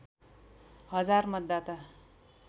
हजार मतदाता